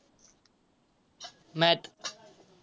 math